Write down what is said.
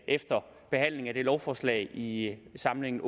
efter behandlingen af det lovforslag i samlingen